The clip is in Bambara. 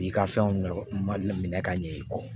I ka fɛnw ma minɛ ka ɲɛ i kɔ